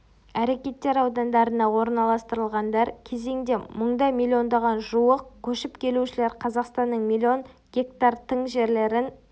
әрекеттер аудандарына орналастырғандар қезеңде мұнда миллионға жуық көшіп келушілер қазақстанның миллион гектар тың жерлерін